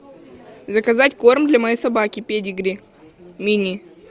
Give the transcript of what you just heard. заказать корм для моей собаки педигри мини